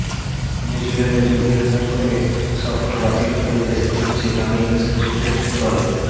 নিউজিল্যান্ডে জঙ্গিহানার ফলে সফর বাতিল করে দেশে ফিরছে বাংলাদেশ ক্রিকেট দল